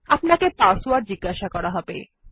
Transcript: আপানকে password জিজ্ঞাসা করা হবে